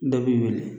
Dɔ b'i wele